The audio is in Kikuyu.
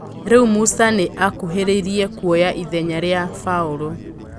Rĩ u Musa nĩ akuhĩ rĩ irie kuoya ithenya rĩ a Baũrũ.